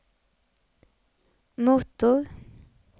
motor